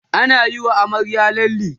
anayi wa amaryar lalle